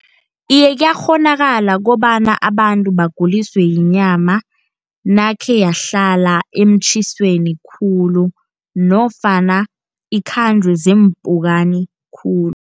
Iye kuyakghonakala kobana abantu baguliswe yinyama, nakhe yahlala emtjhisweni khulu, nofana ikhanjwe ziimpukani khulu.